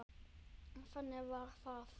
En þannig varð það.